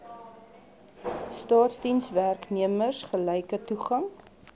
staatsdienswerknemers gelyke toegang